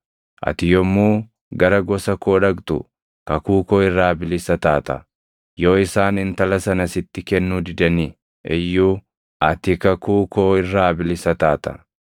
Ati yommuu gara gosa koo dhaqxu kakuu koo irraa bilisa taata; yoo isaan intala sana sitti kennuu didani iyyuu ati kakuu koo irraa bilisa taata.’